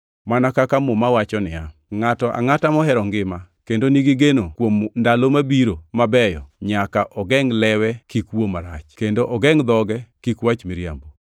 Mana kaka Muma wacho niya, “Ngʼato angʼata mohero ngima kendo ni gigeno kuom ndalo mabiro mabeyo, nyaka ogengʼ lewe kik wuo marach kendo ogengʼ dhoge kuom wacho miriambo.